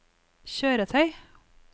kjøretøy